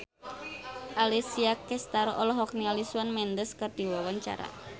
Alessia Cestaro olohok ningali Shawn Mendes keur diwawancara